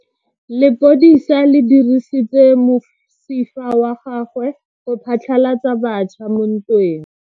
Lepodisa le dirisitse mosifa wa gagwe go phatlalatsa batšha mo ntweng.